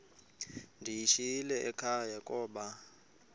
ndiyishiyile ekhaya koba